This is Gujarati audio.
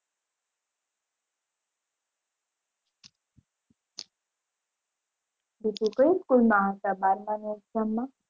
કઈ school માં હતા બારમાં ની exam માં